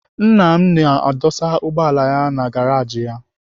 Nna m na-adụsa ụgbọala ya na garaji ya.